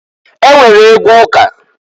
E nwere egwu ụka.